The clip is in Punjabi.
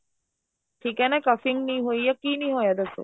ਠੀਕ ਏ ਨਾ ing ਨੀ ਹੋਈ ਏ ਕੀ ਨੀ ਹੋਇਆ ਦੱਸੋ